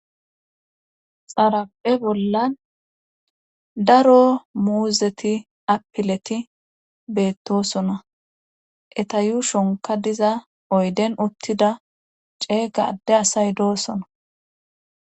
xaraphe bollan daro muuzeti apileti beettosona etayu shonka diza oyden uttida ceega adde asay doosona